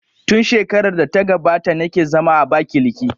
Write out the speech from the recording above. Tun shekarar da ta gabata na ke zama a Abakiliki